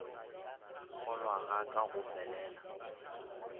kgolwa ga ka go felela